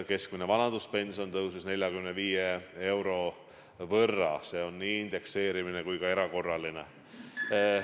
Keskmine vanaduspension tõusis 45 euro võrra, seda tänu indekseerimisele kui ka erakorralisele tõusule.